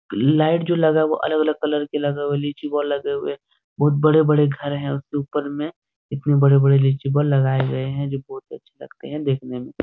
light जो लगा हुआ है वो अलग अलग कलर के लगे हुआ है लीची बॉल लगे हुए है बहुत बड़े-बड़े घर है उसके ऊपर में इतने बड़े-बड़े लीची बॉल लगाए गए है जो बहुत ही अच्छे लगते है देखने में --